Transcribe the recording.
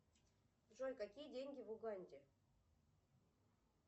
джой какие деньги в уганде